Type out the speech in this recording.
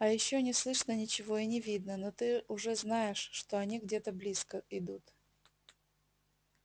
а ещё не слышно ничего и не видно но ты уже знаешь что они где-то близко идут